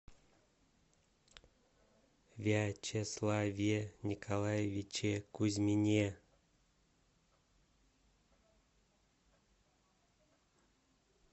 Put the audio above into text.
вячеславе николаевиче кузьмине